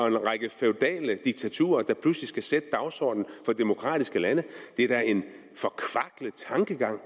en række feudale diktaturer der pludselig skal sætte dagsordenen for demokratiske lande det er da en forkvaklet tankegang